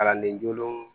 Kalanden jolenw